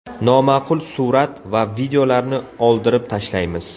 Noma’qul surat va videolarni oldirib tashlaymiz.